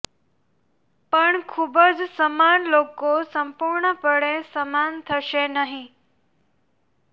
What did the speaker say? પણ ખૂબ જ સમાન લોકો સંપૂર્ણપણે સમાન થશે નહીં